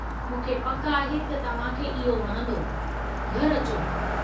मूंखे पकि आहे त तव्हां खे इहो वणंदो; घरि अचो!